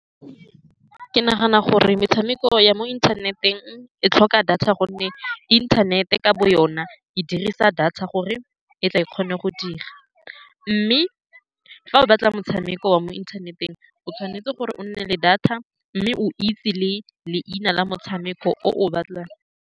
Ke nagana gore metshameko ya mo inthaneteng e tlhoka data, ka gonne inthanete ka bo yone e dirisa data gore e tle e kgone go dira, mme fa o batla motshameko wa mo inthaneteng, o tshwanetse gore o nne le data mme o itse le leina la motshameko oo o batlang.